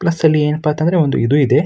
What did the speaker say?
Plus ಅಲ್ಲಿ ಏನಪ್ಪಾ ಅಂತಂದ್ರೆ ಒಂದು ಇದು ಇದೆ.